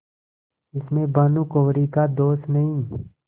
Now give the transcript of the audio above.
इसमें भानुकुँवरि का दोष नहीं